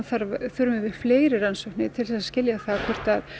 þurfum við fleiri rannsóknir til að skilja það hvort